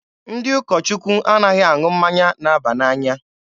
Ndị ụkọ Chukwu anaghị aṅụ mmanya na-aba n'anya.